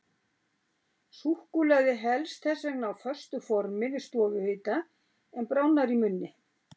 Súkkulaði helst þess vegna á föstu formi við stofuhita, en bráðnar í munni.